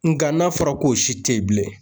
Nka n'a fɔra k'o si te ye bilen